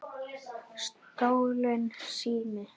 Stolinn sími